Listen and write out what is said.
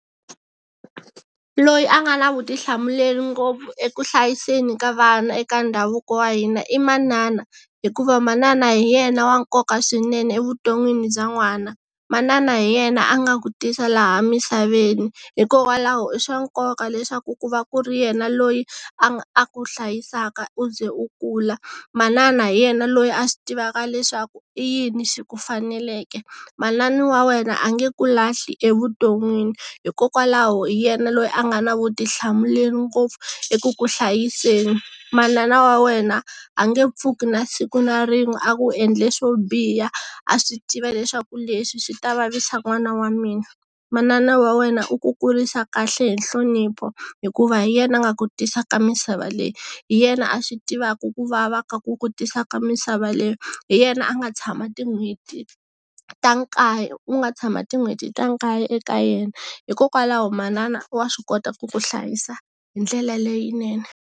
Loyi a nga na vutihlamuleri ngopfu eku hlayiseni ka vana eka ndhavuko wa hina i manana hikuva manana hi yena wa nkoka swinene evuton'wini bya n'wana, manana hi yena a nga ku tisa laha misaveni hikokwalaho i swa nkoka leswaku ku va ku ri yena loyi a a ku hlayisaka u ze u kula, manana hi yena loyi a swi tivaka leswaku i yini swi ku faneleke, manani wa wena a nge ku lahli evuton'wini hikokwalaho hi yena loyi a nga na vutihlamuleri ngopfu eku ku hlayiseni, manana wa wena a nge pfuki na siku na rin'we a ku endle swo biha a swi tiva leswaku leswi swi ta vavisa n'wana wa mina, manana wa wena u ku kurisa kahle hi nhlonipho hikuva hi yena a nga ku tisa ka misava leyi, hi yena a swi tivaka ku vava ka ku ku tisa ka misava leyi, hi yena a nga tshama tin'hweti ta nkaye u nga tshama tin'hweti ta nkaye eka yena hikokwalaho manana wa swi kota ku ku hlayisa hi ndlela leyinene.